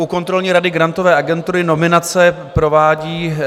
U kontrolní rady Grantové agentury nominace provádí náš...